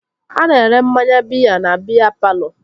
A na-ere mmanya biya na biya palọ